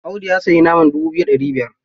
Audi ya sayi naman dubu biyu da ɗari biyar.